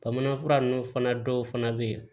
Bamanan fura nunnu fana dɔw fana bɛ yen